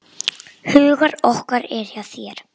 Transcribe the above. Ölkelda getur átt við